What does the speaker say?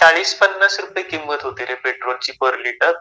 चाळीस-पन्नास रुपये किंमत होती रे पेट्रोलची पर लीटर.